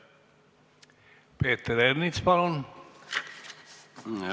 Peeter Ernits, palun!